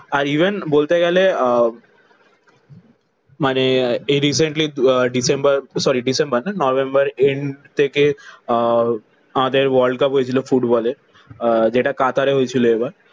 আর even বলতে গেলে আহ মানে এই রিসেন্টলি আহ ডিসেম্বর সরি ডিসেম্বর না নভেম্বর এন্ড থেকে আহ আমাদের world cup হয়েছিল ফুটবলের। আহ যেটা কাতারে হয়েছিল এবার।